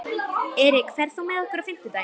Erik, ferð þú með okkur á fimmtudaginn?